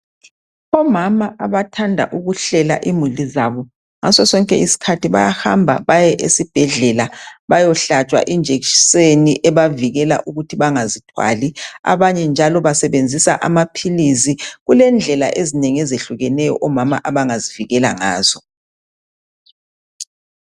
Omama abathanda ukuhlela imuli zabo ngaso sonke isikhathi bayahamba baye esibhedlela bayohlatshwa ijekiseni ebavikela ukuthi bangazithwali. Abanye njalo basebenzisa amaphilisi. Kulendlela ezinengi ezehlukeneyo omama abangazivikela ngazo.